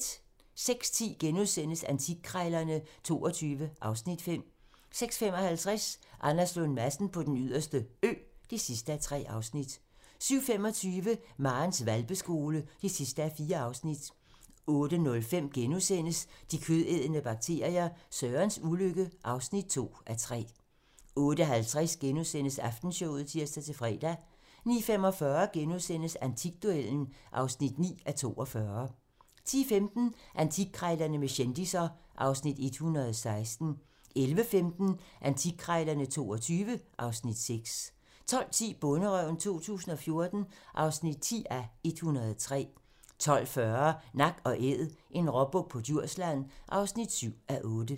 06:10: Antikkrejlerne XXII (Afs. 5)* 06:55: Anders Lund Madsen på Den Yderste Ø (3:3) 07:25: Marens hvalpeskole (4:4) 08:05: De kødædende bakterier - Sørens ulykke (2:3)* 08:50: Aftenshowet *(tir-fre) 09:45: Antikduellen (9:42)* 10:15: Antikkrejlerne med kendisser (Afs. 116) 11:15: Antikkrejlerne XXII (Afs. 6) 12:10: Bonderøven 2014 (10:103) 12:40: Nak & æd - en råbuk på Djursland (7:8)